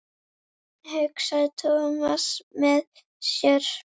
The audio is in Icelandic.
hugsaði Thomas með sér.